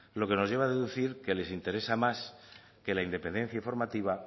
lo que nos lleva a deducir que les interesa más que la independencia informativa